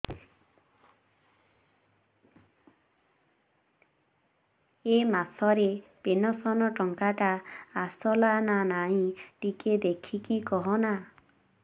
ଏ ମାସ ରେ ପେନସନ ଟଙ୍କା ଟା ଆସଲା ନା ନାଇଁ ଟିକେ ଦେଖିକି କହନା